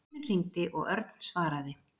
Síminn hringdi og Örn svaraði.